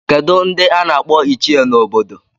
Kedu ndị a n'akpọ ichie n'obodo?